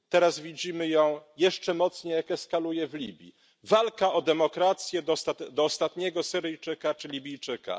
Teraz widzimy ją jeszcze mocniej, jak eskaluje w Libii walka o demokrację do ostatniego Syryjczyka czy Libijczyka.